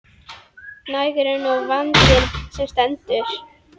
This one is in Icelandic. Nægur er nú vandinn sem stendur.